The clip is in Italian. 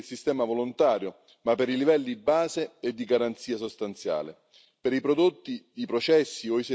Sulla certificazione ritengo condivisibile il sistema volontario, ma per i livelli base e di garanzia sostanziale